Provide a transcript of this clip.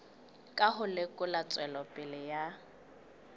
ka ho lekola tswelopele ya